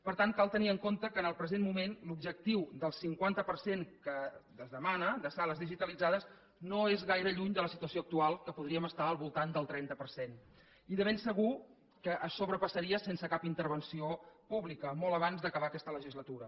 per tant cal tenir en compte que en el present moment l’objectiu del cinquanta per cent que es demana de sales digitalitzades no és gaire lluny de la situació actual que podríem estar al voltant del trenta per cent i de ben segur que es sobrepassaria sense cap intervenció pública molt abans d’acabar aquesta legislatura